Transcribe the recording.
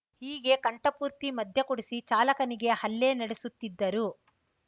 ಹೀಗೆ ಕಂಠಪೂರ್ತಿ ಮದ್ಯ ಕುಡಿಸಿ ಚಾಲಕನಿಗೆ ಹಲ್ಲೆ ನಡೆಸುತ್ತಿದ್ದರು